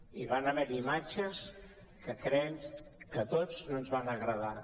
hi van haver imatges que crec que a tots no ens van agra·dar